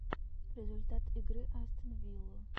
результат игры астон виллу